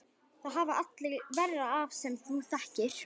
Það hafa allir verra af sem þú þekkir!